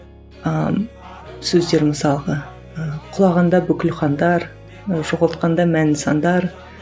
ыыы сөздер мысалға ы құлағанда бүкіл хандар жоғалтқанда мәнді сандар